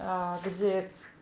где